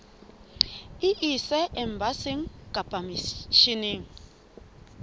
e ise embasing kapa misheneng